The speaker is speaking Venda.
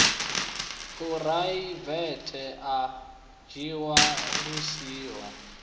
phuraivethe a dzhiwa lu siho